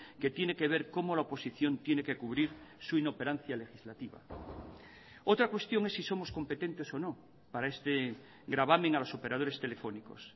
que tiene que ver cómo la oposición tiene que cubrir su inoperancia legislativa otra cuestión es si somos competentes o no para este gravamen a los operadores telefónicos